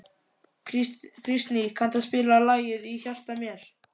Kristný, kanntu að spila lagið „Í hjarta mér“?